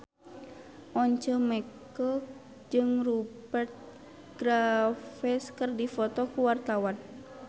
Once Mekel jeung Rupert Graves keur dipoto ku wartawan